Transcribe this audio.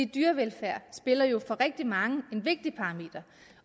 dyrevelfærd er jo for rigtig mange en vigtig parameter